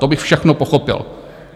To bych všechno pochopil.